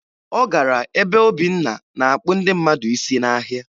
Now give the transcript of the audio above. Ọ gara ebe Obinna na-akpụ ndị mmadụ isi n'ahịa